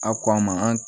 A ko an ma an